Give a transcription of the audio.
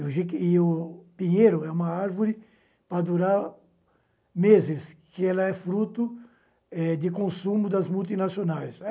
E o pinheiro é uma árvore para durar meses, que ela é fruto eh de consumo das multinacionais.